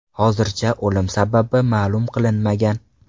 Hozircha o‘lim sababi ma’lum qilinmagan.